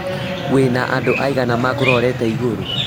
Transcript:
Wĩ na andũ aigana makũrorete igũrũ?